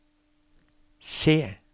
C